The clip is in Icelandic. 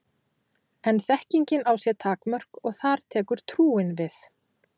En þekkingin á sér takmörk og þar tekur trúin við.